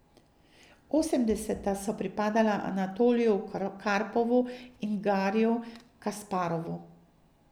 Osemdeseta so pripadala Anatoliju Karpovu in Gariju Kasparovu.